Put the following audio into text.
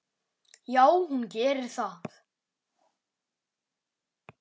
Já, hún gerir það.